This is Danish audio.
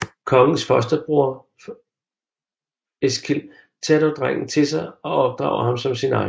Kongens fosterbror Eskil tager dog drengen til sig og opdrager ham som sin egen